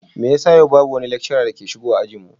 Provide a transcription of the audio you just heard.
Me yasa yau babu wani lecturer da ke zuwa ajin mu?